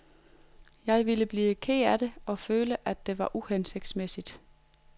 Jeg ville blive ked af det og føle, at det var uhensigtsmæssigt.